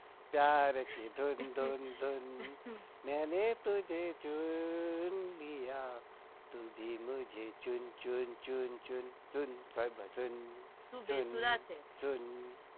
પ્યાર કી ધૂ મેને તુજે ચૂંન લિયા તું ભી મુજહૈ ચુન ચુન ચુન ચુન સુન સાઈબા સુન તું બેસૂરા છે. પ્યાર કી ધૂન